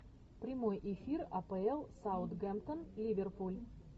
прямой эфир апл саутгемптон ливерпуль